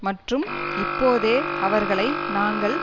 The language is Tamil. மற்றும் இப்போதே அவர்களை நாங்கள்